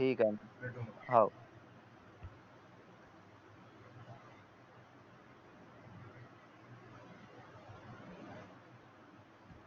हो ठीक आहे भेटत जा